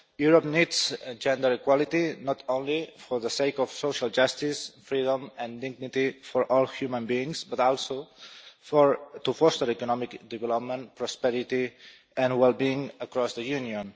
Europe needs gender equality not only for the sake of social justice, freedom and dignity for all human beings but also to foster economic development, prosperity and wellbeing across the Union.